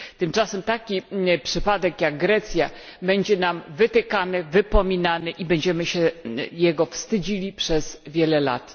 Tymczasem taki przypadek jak Grecja będzie nam wytykany, wypominany i będziemy się jego wstydzili przez wiele lat.